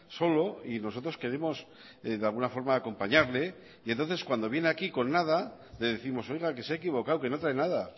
solo y nosotros queremos de alguna forma acompañarle y entonces cuando viene aquí con nada le décimos oiga que se ha equivocado que no trae nada